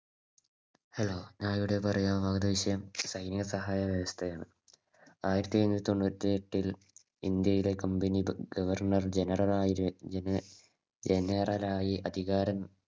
Hello ഞാനിവിടെ പറയാൻ പോകുന്ന വിഷയം സൈനിക സഹായ വ്യവസ്ഥയാണ് ആയിരത്തി എഴുന്നൂറ്റി തൊണ്ണൂറ്റിയെട്ടിൽ ഇന്ത്യയിലെ Company governor general ആയ General ആയി അധികാരം